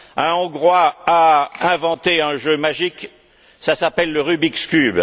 Un Hongrois a inventé un jeu magique, ça s'appelle le Rubik's Cube.